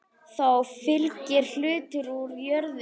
Þá fylgir hluti úr jörðum.